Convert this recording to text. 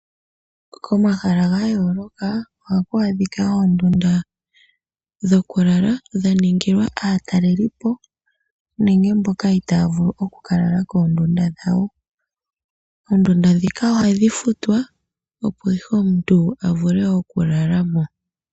Komahala ga yooloka ohaku adhika oondundu dha ningilwa aatalelipo nenge mboka itaaya vulu oku ka lala koondunda dhawo. Oondunda ndhika ohadhi futwa opo ihe omuntu avule oku lalamo